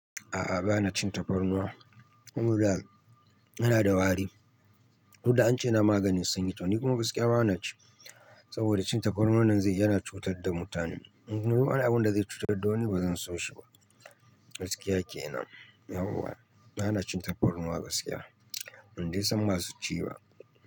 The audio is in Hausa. A'a, ba na cin tafarnuwa saboda yana da wari. Duk da an ce na maganin sanyi ta. Ni kuma gaskiya ba na ci saboda cin tafarnuwan nan zai yana cutar da mutane. In ruwa ne abun da zai cutar da ni, ba zan so shi ba. Gaskiya kenan. Yauwa, ba na cin tafarnuwa gaskiya. In da isam masu ci ba.